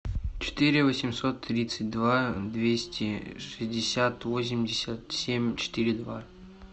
четыре восемьсот тридцать два двести шестьдесят восемьдесят семь четыре два